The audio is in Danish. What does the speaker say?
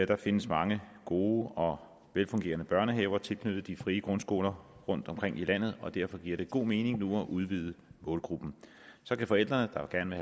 der findes mange gode og velfungerende børnehaver tilknyttet de frie grundskoler rundtomkring i landet og derfor giver det god mening nu at udvide målgruppen så kan forældre der gerne